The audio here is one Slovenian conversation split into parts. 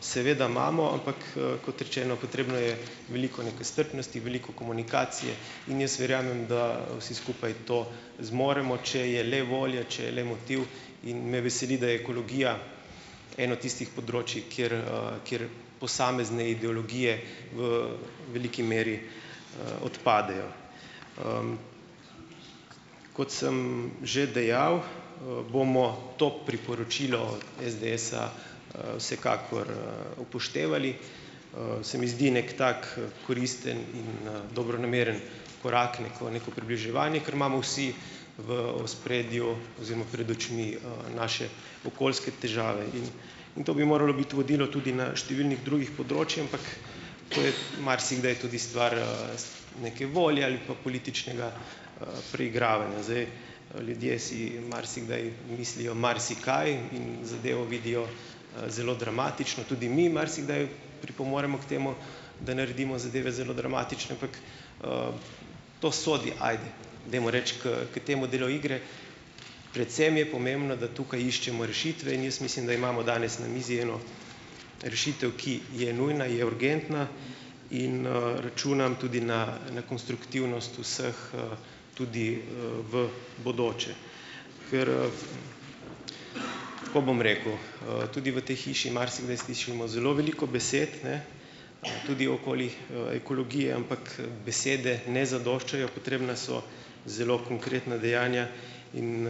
Seveda imamo, ampak, kot rečeno, potrebno je veliko neke strpnosti, veliko komunikacije in jaz verjamem, da vsi skupaj to zmoremo, če je le volja, če je le motiv. In me veseli, da ekologija eno tistih področij, kjer, kjer posamezne ideologije v veliki meri, odpadejo. Kot sem že dejal, bomo to priporočilo SDS-a vsekakor, upoštevali. Se mi zdi neki tak, koristen in, dobronameren korak, neko neko približevanje, ker imamo vsi v ospredju oziroma pred očmi, naše okoljske težave. In In to bi moralo biti vodilo tudi na številnih drugih področjih, ampak to je marsikdaj tudi stvar, neke volje ali pa političnega, preigravanja. Zdaj, Ljudje si marsikdaj mislijo marsikaj in zadevo vidijo, zelo dramatično. Tudi mi marsikdaj pripomoremo k temu, da naredimo zadeve zelo dramatične, ampak, to sodi, ajde, dajmo reči, k k temu delu igre. Predvsem je pomembno, da tukaj iščemo rešitve, in jaz mislim, da imamo danes na mizi eno rešitev, ki je nujna, je urgentna. In, računam tudi na na konstruktivnost vseh, tudi, v bodoče. Ker, Tako bom rekel, tudi v tej hiši marsikdaj slišimo zelo veliko besed, ne, tudi okoli, ekologije, ampak, besede ne zadoščajo, potrebna so zelo konkretna dejanja in,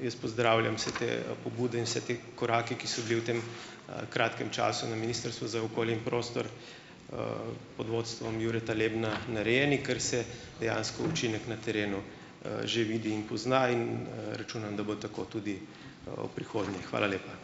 jaz pozdravljam vse te, pobude in vse te korake, ki so bili v tem, kratkem času na Ministrstvu za okolje in prostor, pod vodstvom Jureta Lebna narejeni, ker se dejansko učinek na terenu, že vidi in pozna in, računam, da bo tako tudi, v prihodnje. Hvala lepa.